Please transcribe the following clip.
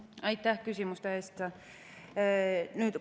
Aitäh küsimuste eest!